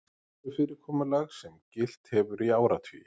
Vinnufyrirkomulag sem gilt hefur í áratugi